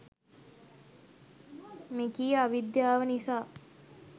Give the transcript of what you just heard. මෙකී අවිද්‍යාව නිසා